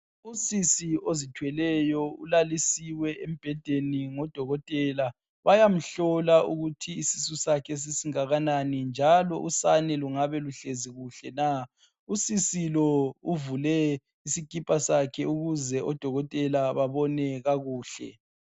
Usisi ozithweleyo ulalisiwe embhedeni ngoDokotela, bayamhlola ukuthi isisusakhe sesingakanani, njalo usane lungabe kuhlezi kuhle na. Usisi lo uvule isikipa sakhe ukuze oDokotela babone kakuhle.